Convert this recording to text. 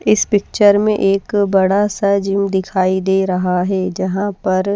इस पिक्चर में एक बड़ा सा जिम दिखाई दे रहा है जहां पर--